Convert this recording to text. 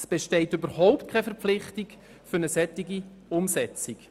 Es besteht gar keine Verpflichtung, diese umzusetzen.